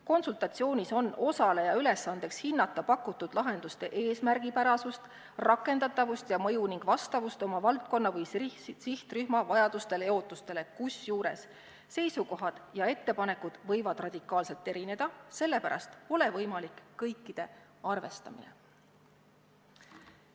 Konsultatsioonis on osaleja ülesandeks hinnata pakutud lahenduste eesmärgipärasust, rakendatavust ja mõju ning vastavust oma valdkonna või sihtrühma vajadustele ja ootustele, kusjuures seisukohad ja ettepanekud võivad radikaalselt erineda, mistõttu pole võimalik kõiki arvestada.